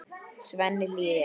Svenni hlýðir.